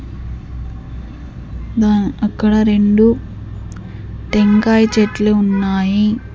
అక్కడ రెండు టెంకాయ చెట్లు ఉన్నాయి.